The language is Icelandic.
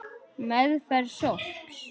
Meðferð sorps